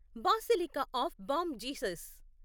basilica of Bom Jesus